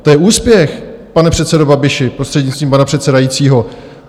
To je úspěch, pane předsedo Babiši, prostřednictvím pana předsedajícího.